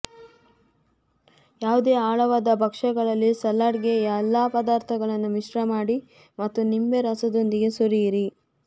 ಯಾವುದೇ ಆಳವಾದ ಭಕ್ಷ್ಯಗಳಲ್ಲಿ ಸಲಾಡ್ಗೆ ಎಲ್ಲಾ ಪದಾರ್ಥಗಳನ್ನು ಮಿಶ್ರಮಾಡಿ ಮತ್ತು ನಿಂಬೆ ರಸದೊಂದಿಗೆ ಸುರಿಯಿರಿ